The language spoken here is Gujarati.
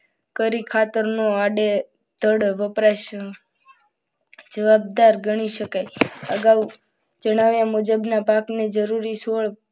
કરી ખાતરનું આડેદડ વપરાશ જવાબદાર ગણી શકાય. અગાઉ જણાવ્યા મુજબના પાકને જરૂરિયાત